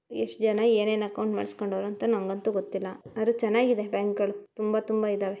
ಎಷ್ಟ್ ಜನ ಏನ್ ಏನ್ ಅಕೌಂಟ್ ಮಾಡ್ಸಕಂಡವರೇ ಅಂತ ನನಗಂತೂ ಗೊತ್ತಿಲ್ಲ ಆದ್ರೆ ಚೆನ್ನಾಗಿದೆ ಬ್ಯಾಂಕುಗಳು ತುಂಬಾ ತುಂಬಾ ಇದ್ದಾವೆ.